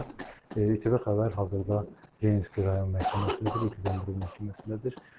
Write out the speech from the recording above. İTV Xəbər hazırda Leninski rayon məhkəməsindədir, Ekaterinburg məhkəməsindədir.